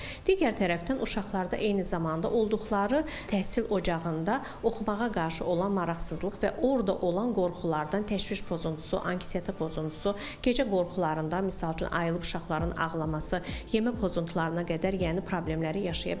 Digər tərəfdən uşaqlarda eyni zamanda olduqları təhsil ocağında oxumağa qarşı olan maraqsızlıq və orda olan qorxulardan təşviş pozuntusu, anksiyeta pozuntusu, gecə qorxularında, misal üçün ayılıb uşaqların ağlaması, yemə pozuntularına qədər, yəni problemləri yaşaya bilərlər.